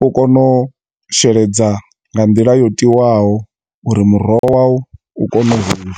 u kone u sheledza nga nḓila yo tiwaho, uri muroho wa wu u kone u hula.